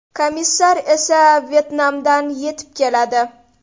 Komissar esa Vyetnamdan yetib keladi.